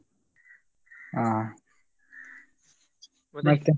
ಹ ಮತ್ತೆ.